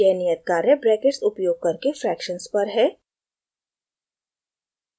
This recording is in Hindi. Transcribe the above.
यह नियत कार्य ब्रैकेट्स उपयोग करके fractions पर है